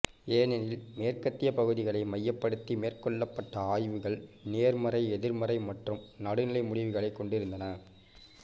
ஏனெனில் மேற்கத்திய பகுதிகளை மையப்படுத்தி மேற்கொள்ளப்பட்ட ஆய்வுகள் நேர்மறை எதிர்மறை மற்றும் நடுநிலை முடிவுகளைக் கொண்டிருந்தன